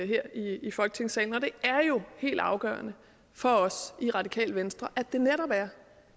her i folketingssalen og det er jo helt afgørende for os i radikale venstre